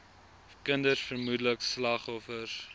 kinders vermoedelik vigsslagoffers